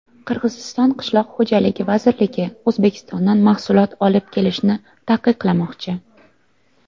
Qirg‘iziston qishloq xo‘jaligi vazirligi O‘zbekistondan mahsulot olib kelishni taqiqlamoqchi.